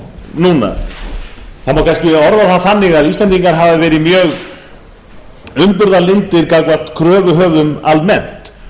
núna það má kannski orða það þannig að íslendingar hafi verið mjög umburðarlyndir gagnvart kröfuhöfum almennt